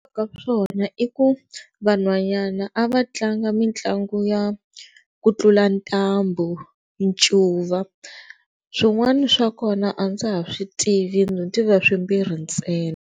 Ka swona i ku vanhwanyana a va tlanga mitlangu ya ku tlula ntambu, ncuva swin'wana swa kona a ndza ha swi tivi ndzi tiva swimbirhi ntsena.